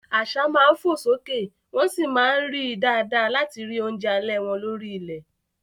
Àṣá máa ń fò sókè wọ́n sì máa ń rí i dáadáa láti rí oúnjẹ alẹ́ wọn lórí ilẹ̀.